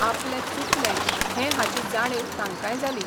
आपलें चुकलें हें हाची जाणीव तांकांय जाली.